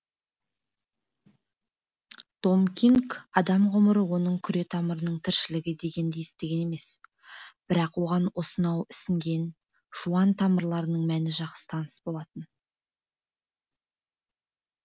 том кинг адам ғұмыры оның күре тамырының тіршілігі дегенді естіген емес бірақ оған осынау ісінген жуан тамырлардың мәні жақсы таныс болатын